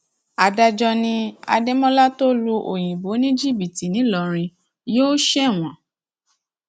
adájọ ni adémọlá tó lu òyìnbó ní jìbìtì ńìlọrin yóò ṣẹwọn